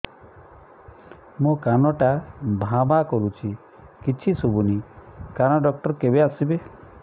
ମୋ କାନ ଟା ଭାଁ ଭାଁ କରୁଛି କିଛି ଶୁଭୁନି କାନ ଡକ୍ଟର କେବେ ଆସିବେ